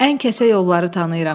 Ən kəsə yolları tanıyıram.